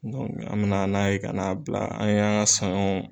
an bɛna n'a ye kana bila an ye an ka saɲɔ